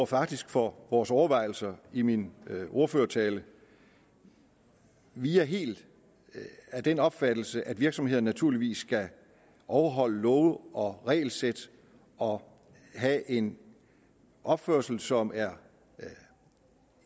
faktisk for vores overvejelser i min ordførertale vi er helt af den opfattelse at virksomheder naturligvis skal overholde love og regelsæt og have en opførsel som er